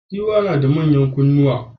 Giwa nada manyan kunnuwa